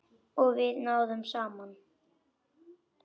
Og við náðum saman.